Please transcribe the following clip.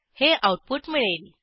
हे आऊटपुट मिळेल